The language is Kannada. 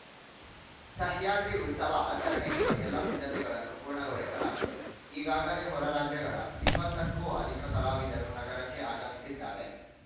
ಸಹ್ಯಾದ್ರಿ ಉತ್ಸವ ಆಚರಣೆಗೆ ಎಲ್ಲಾ ಸಿದ್ಧತೆಗಳನ್ನು ಪೂರ್ಣಗೊಳಿಸಲಾಗಿದೆ ಈಗಾಗಲೇ ಹೊರ ರಾಜ್ಯಗಳ ಇಪ್ಪತ್ತ ಕ್ಕೂ ಅಧಿಕ ಕಲಾವಿದರು ನಗರಕ್ಕೆ ಆಗಮಿಸಿದ್ದಾರೆ